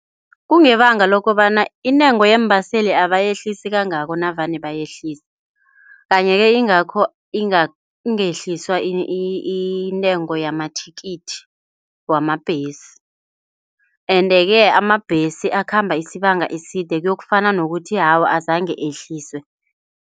Kungebanga lokobana intengo yeembaseli abayehlisi kangako navane bayehlise, kanye-ke ingakho ingehliswa intengo yamathikithi wamabhesi, ende-ke amabhesi akhamba isibanga eside kuyokufana nokuthi awa azangehliswe.